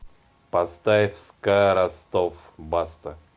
поставь ска ростов баста